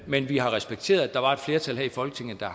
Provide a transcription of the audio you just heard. men vi har respekteret at der var et flertal her i folketinget der